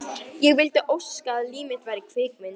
Ég vildi óska að líf mitt væri kvikmynd.